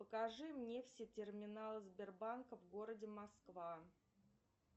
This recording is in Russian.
покажи мне все терминалы сбербанка в городе москва